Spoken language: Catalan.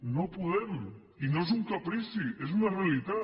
no podem i no és un caprici és una realitat